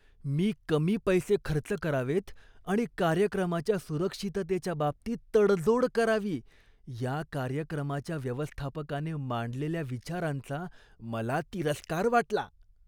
मी कमी पैसे खर्च करावेत आणि कार्यक्रमाच्या सुरक्षिततेच्या बाबतीत तडजोड करावी या कार्यक्रमाच्या व्यवस्थापकाने मांडलेल्या विचारांचा मला तिरस्कार वाटला.